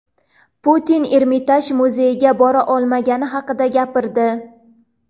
Putin Ermitaj muzeyiga bora olmagani haqida gapirdi.